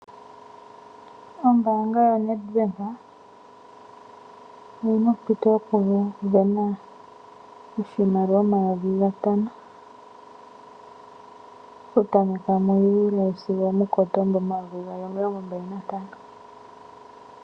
Ombaanga yaNedBank oyi na ompito yokusindana oshimaliwa omayovi gatano, okutameka mu Juli sigo omuKotomba omayovi gaali omilongo mbali nantano.